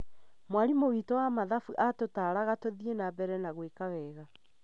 Mwarimu witũ wa mathabu atutaraga tũthiĩ na mbere na gwika wega